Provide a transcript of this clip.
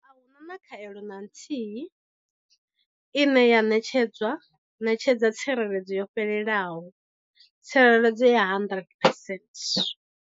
A hu na khaelo na nthihi ine ya ṋetshedza tsireledzo yo fhelelaho, tsireledzo ya 100 phesent.